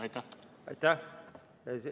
Aitäh!